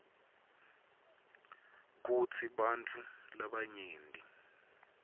kutsi bantfu labanyenti